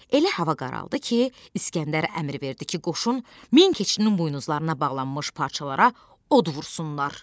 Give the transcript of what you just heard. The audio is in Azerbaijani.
Elə hava qaraldı ki, İsgəndər əmr verdi ki, qoşun min keçinin buynuzlarına bağlanmış parçalara od vursunlar.